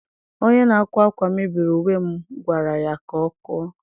Onye na-akwa akwa mebiri uwe m gwara ya ka ọ kụọ.